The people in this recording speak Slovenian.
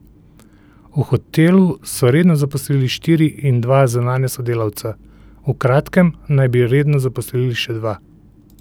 V hotelu so redno zaposlili štiri in dva zunanja sodelavca, v kratkem naj bi redno zaposlili še dva.